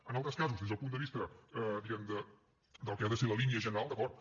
en altres casos des del punt de vista diguem ne del que ha de ser la línia general d’acord